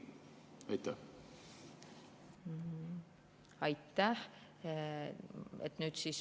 Aitäh!